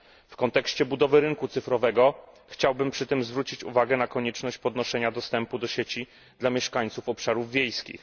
W kontekście budowy rynku cyfrowego chciałbym przy tym zwrócić uwagę na konieczność podnoszenia dostępu do sieci dla mieszkańców obszarów wiejskich.